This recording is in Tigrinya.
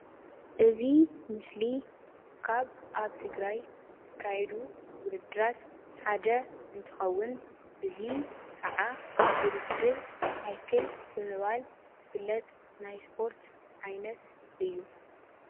እዚ ምስሊ ካብ ኣብ ትግራይ ዝካየዱ ውድድራት ሓደ እንትኸውን እዚ ከዓ ውድድር ሳይክል ብምባል ዝፍለጥ ናይ ስፖርት ዓይነት እዩ ።